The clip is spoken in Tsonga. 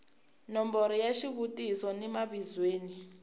nomboro ya xivutiso ni mavizweni